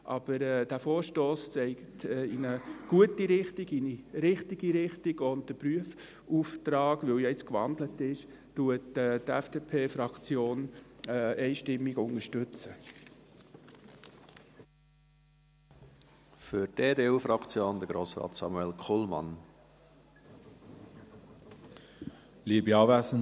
Aber der Vorstoss weist in eine gute Richtung, in eine richtige Richtung, und die FDP-Fraktion unterstützt den Prüfauftrag, weil ja jetzt gewandelt ist, einstimmig.